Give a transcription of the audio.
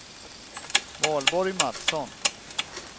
Valborg Matsson